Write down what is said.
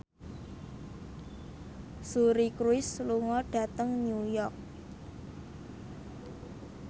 Suri Cruise lunga dhateng New York